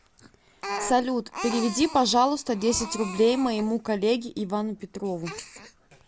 салют переведи пожалуйста десять рублей моему коллеге ивану петрову